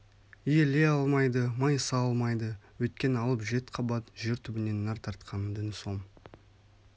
иіле алмайды майыса алмайды өйткен алып жет қабат жер түбінен нәр тартқан дің сом